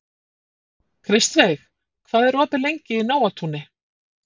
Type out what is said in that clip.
Kristveig, hvað er opið lengi í Nóatúni?